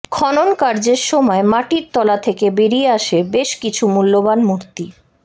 খনন কার্যের সময় মাটির তলা থেকে বেরিয়ে আসে বেশ কিছু মূল্যবান মূর্তি